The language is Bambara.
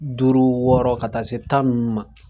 Duuru wɔɔrɔ ka taa se tan ninnu ma.